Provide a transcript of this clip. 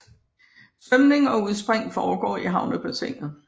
Svømning og udspring foregår i havnebassinet